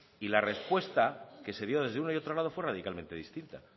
y la respuesta que se dio desde uno y otro lado fue radicalmente distinta